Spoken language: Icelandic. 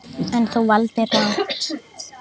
En, þú valdir rangt.